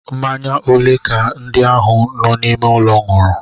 Mmanya ole ka ndị ahụ nọ n'ime ụlọ ṅụrụ?